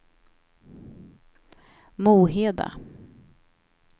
Moheda